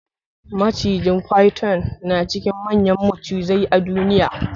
Macijin "Python" na cikin manyan macizai a duniya.